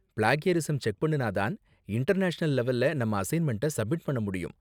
Plagiarism check பண்ணுனா தான் international லெவல்ல நம்ம அசைன்மெண்ட்ட சப்மிட் பண்ண முடியும்.